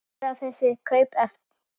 Verða þessi kaup efnd?